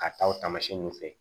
K'a taa o taamasiyɛn nun fɛ